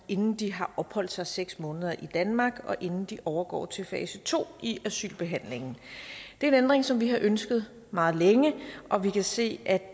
inden de har opholdt sig seks måneder i danmark og inden de overgår til fase to i asylbehandlingen det er en ændring som vi har ønsket meget længe og vi kan se at